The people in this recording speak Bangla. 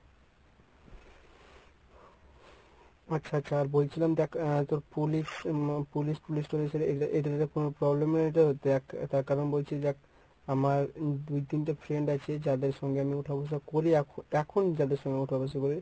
আচ্ছা আচ্ছা আর বলছিলাম দেখ তোর police এটাতে কোনো problem নেই তো দেখ তার কারণ বলছি দেখ আমার দুই তিনটা friend আছে যাদের সঙ্গে আমি ওঠাবসা করি এখ~ এখন যাদের সঙ্গে ওঠাবসা করি